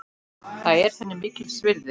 Það er henni mikils virði.